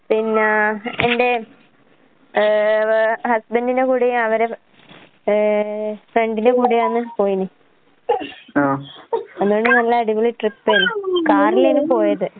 പിന്നാ എന്റെ ഏ വ് ഹസ്ബന്റിന്റെ കൂടയും അവരെ ഏ ഫ്രണ്ടിന്റെ കൂടെയാന്ന് പോയീനി. അതോണ്ട് നല്ല അടിപൊളി ട്രിപ്പേരുന്നു. കാറിലേന്നു പോയത്.